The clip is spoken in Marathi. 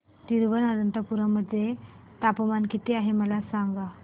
तिरूअनंतपुरम मध्ये तापमान किती आहे मला सांगा